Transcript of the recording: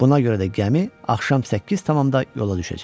Buna görə də gəmi axşam 8-də yola düşəcək.